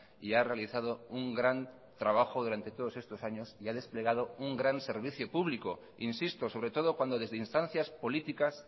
y ha realizado un gran trabajo durante todos estos años y ha desplegado un gran servicio público insisto sobre todo cuando desde instancias políticas